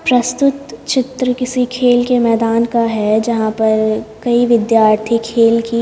प्रस्तुत चित्र किसी खेल के मैदान का है जहाँ पर कई विद्यार्थी खेल की--